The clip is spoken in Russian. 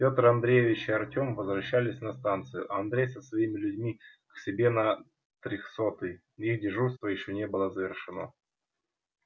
пётр андреевич и артём возвращались на станцию а андрей со своими людьми к себе на трёхсотый их дежурство ещё не было завершено